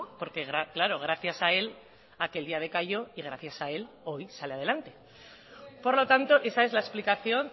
porque claro gracias a él aquel día decayó y gracias a él hoy sale adelante por lo tanto esa es la explicación